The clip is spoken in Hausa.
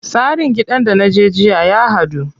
Tsarin gidan da naje jiya ya haɗu.